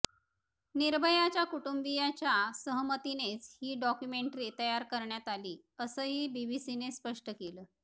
निर्भयाच्या कुटुंबियाच्या सहमतीनेच ही डॉक्युमेंटरी तयार करण्यात आली असंही बीबीसीने स्पष्ट केलं